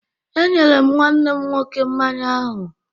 E nyere m nwanne m nwọke mmanya ahụ